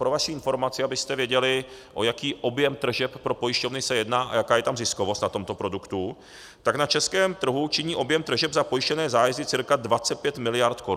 Pro vaši informaci, abyste věděli, o jaký objem tržeb pro pojišťovny se jedná a jaká je tam ziskovost na tomto produktu, tak na českém trhu činí objem tržeb za pojištěné zájezdy cca 25 miliard korun.